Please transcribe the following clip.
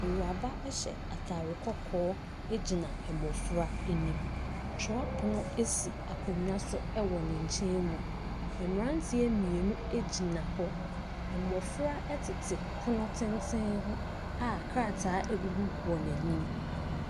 Awuraba hyɛ atade kɔkɔɔ gyina mmɔfra anim. Twerɛpono si akonnwa so wɔ ne nkyɛn mu. Mmɔfra tete pono tenten ho a krataa gugu wɔn ani.